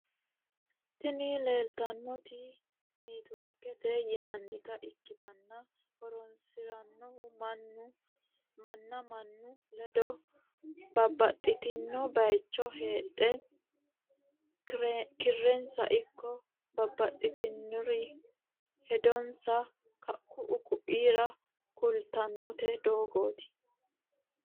Tini leleitanoti newtworikete yinanita ikitana horroseno manna mannu ledo babtitino bayicho heedhe keerenisa iko babtinore hedonisa ku’u koira kulitano dogotti.